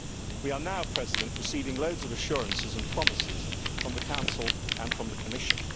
We are now receiving loads of assurances and promises from the Council and from the Commission.